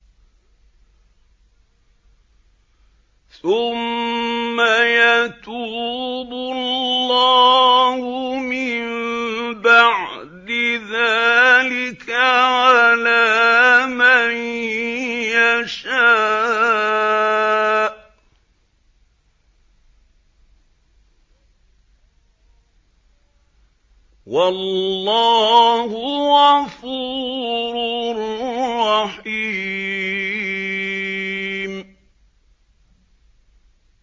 ثُمَّ يَتُوبُ اللَّهُ مِن بَعْدِ ذَٰلِكَ عَلَىٰ مَن يَشَاءُ ۗ وَاللَّهُ غَفُورٌ رَّحِيمٌ